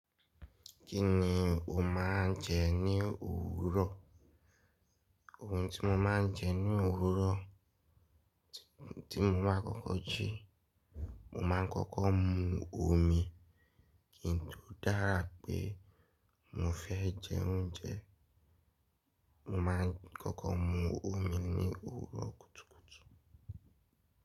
Kí ni o máa ń jẹ ní òwúrọ̀? Ohun tí mo máa ń jẹ ní òwúrọ̀, ohun tí mo máa ń kọ́kọ́ ji, mo máa ń kọ́kọ́ mu omi. Kíni tó dára pé mo fẹ́ jẹ oúnjẹ, mo máa ń kọ́kọ́ mu omi ní òwúrọ̀ kùtùkùtù.